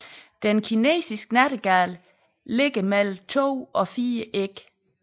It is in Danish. Den kinesiske nattergal lægger mellem 2 og 4 æg